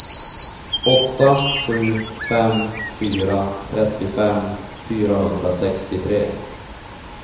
åtta sju fem fyra trettiofem fyrahundrasextiotre